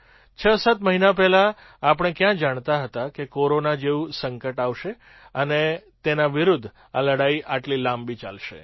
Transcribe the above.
૬૭ મહિના પહેલાં આપણે ક્યાં જાણતા હતા કે કોરોના જેવું સંકટ આવશે અને તેના વિરુદ્ધ આ લડાઈ આટલી લાંબી ચાલશે